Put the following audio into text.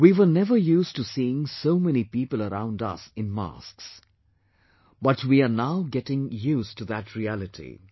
We were never used to seeing so many people around us in masks, but we are now getting used to that reality